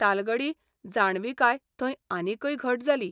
तालगडी जाणविकाय थंय आनिकय घट जाली.